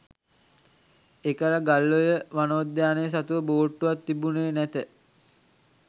එකල ගල්ඔය වනෝද්‍යානය සතුව බෝට්ටුවක් තිබුණේ නැත